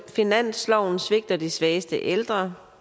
finansloven svigter de svageste ældre